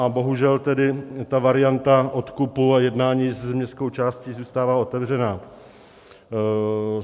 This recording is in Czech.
A bohužel tedy ta varianta odkupu a jednání s městskou částí zůstává otevřená.